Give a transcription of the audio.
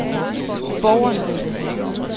borgerne